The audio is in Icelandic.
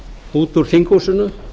út úr þinghúsinu